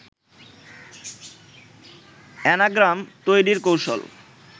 anagram তৈরির কৌশল